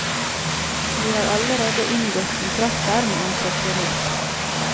Vi har allerede inngått kontrakter med entreprenør.